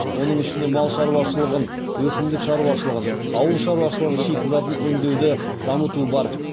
оның ішінде мал шаруашылығын өсімдік шаруашылығын ауыл шаруашылығы шикізатын өңдеуді дамыту бар